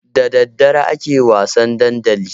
Da daddare ake wasan dandali.